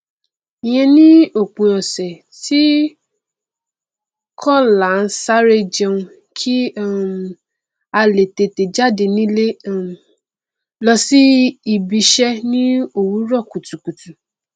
ìyen ni òpin ọsẹ tí kò láaansáré jẹun kí um a le tètè jáde nílé um lọ ibiṣẹ ni owurọ kùtùkùtù